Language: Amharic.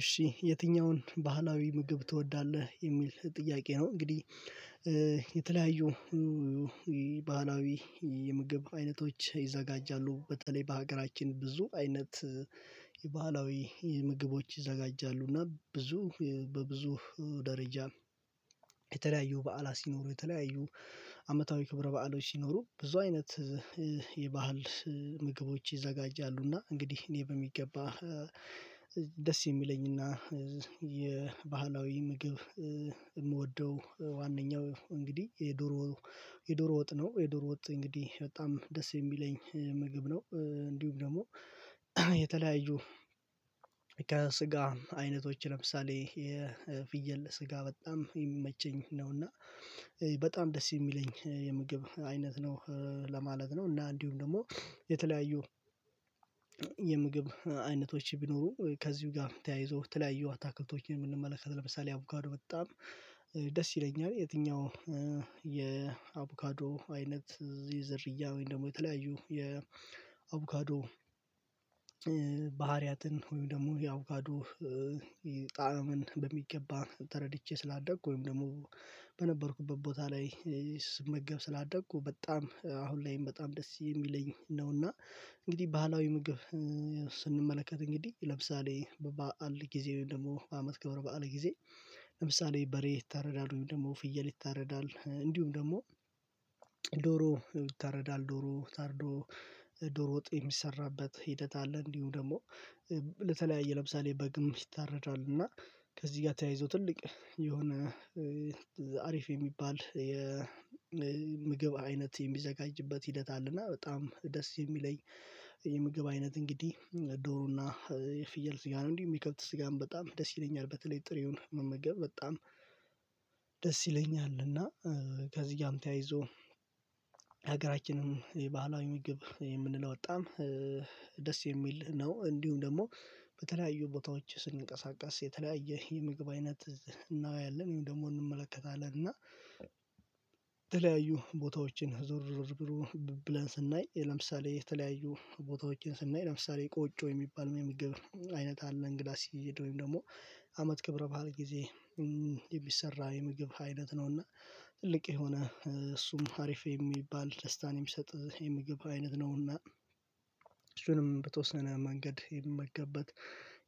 እሺ የትኛውን ባህላዊ ምግብ ትወዳለህ የሚል ጥያቄ ነው? እንግዲህ የተለያዩ ባህላዊ የምግብ አይነቶች ይዘጋጃሉ በተለይ በሀገራችን ብዙ አይነት የባህላዊ ምግቦች ይዘጋጃሉ እና ብዙ በብዙ ደረጃ። የተለያዩ በዓላት ሲኖሩ የተለያዩ አመታዊ ክብረ በዓሎች ሲኖሩ ብዙ አይነት የባህል ምግቦች ይዘጋጃሉና። እንግዲህ እኔ በሚገባ ደስ የሚለኝና የባህላዊ ምግብ ምወደው ዋናኛው እንግዲህ የዶሮ የዶሮ ወጥ ነው የዶሮ ወጥ እንግዲህ በጣም ደስ የሚለኝ ምግብ ነው። እንዲሁም ደግሞ የተለያዩ ከስጋም አይነቶች ለምሳሌ የፍየል ስጋ በጣም ሚመቸኝ ነው። እና በጣም ደስ የሚለኝ የምግብ አይነት ነው ለማለት ነው። እና እንዲሁም ደግሞ የተለያዩ የምግብ አይነቶች ቢኖሩ ከዚሁ ጋር ተያይዞ ተለያዩ አታክልቶችን ምንመለከት ለምሳሌ አቮካዶ በጣም ደስ ይለኛል። የትኛው የአቮካዶ አይነት ዝርያ ወይም ደግሞ የተለያዩ የአቮካዶ ባህሪያትን ወይም ደግሞ የአቮካዶ ጣዕምን በሚገባ ተረድቼ ስላደኩ ወይም ደግሞ በነበርኩበት ቦታ ላይ ስመገብ ስላደኩ በጣም አሁን ላይም በጣም ደስ የሚለኝ ነውና። እንግዲህ ባህላዊ ምግብ ስንመለከት እንግዲህ ለምሳሌ በባዓል ጊዜ ወይም ደግሞ በአመት ክብር ባዓል ጊዜ ለምሳሌ በሬ ይታረዳል ወይም ደግሞ ፍየል ይታረዳል እንዲሁም ደግሞ ዶሮ ይታረዳል ዶሮ ታርዶ ዶሮ ወጥ የሚሰራበት ሂደት አለ። እንዲሁም ደግሞ ለተለያየ ለምሳሌ በግም ይታረዳልና ከዚህ ጋር ተያይዞ ትልቅ የሆነ አሪፍ የሚባል የምግብ አይነት የሚዘጋጅበት ሂደት አለና በጣም ደስ ሚለኝ። የምግብ አይነት እንግዲህ ዶሩና የፍየል ስጋ ነው። እንዲሁም የከብት ስጋም በጣም ደስ ይለኛል በተለይ ጥሬውን መመገብ በጣም ደስ ይለኛል። እና ከዚህ ጋር ተያይዞ ሀገራችንም የባህላዊ ምግብ የምንለው ጣዓም ደስ የሚል ነው። እንዲሁም ደግሞ በተለያዩ ቦታዎች ስንቀሳቀስ የተለያየ የምግብ አይነት እናያለን ወይም ደግሞ እንመለከታለን። እና የተለያዩ ቦታዎችን ዞር ዞር ብሎ ብለን ስናይ ለምሳሌ የተለያዩ ቦታዎችን ስናይ ለምሳሌ ቆጮ የሚባል የምግብ አይነት አለ። እንግዳ ሲሄድ ወይም ደግሞ አመት ክብረ ባህል ጊዜ የሚሰራ የምግብ አይነት ነውና ትልቅ የሆነ እሱም ሀሪፍ የሚባል ደስታን የሚሰጥ የምግብ አይነት ነውና። እሱንም በተወሰነ መንገድ የሚመገብበት